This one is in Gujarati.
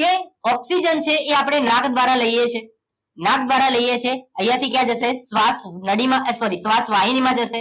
કે ઓક્સિજન છે એ આપણે નાક દ્વારા લઈએ છીએ નાક દ્વારા લઈએ છીએ અહીંયાથી ક્યાં જશે? શ્વાસ નળીમાં sorry શ્વાસ વાહિનીમાં જશે